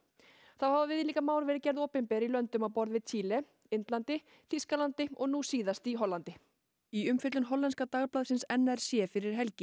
þá hafa viðlíka mál verið gerð opinber í löndum á borð við Chile Indlandi Þýskalandi og nú síðast í Hollandi í umfjöllun hollenska n r c fyrir helgi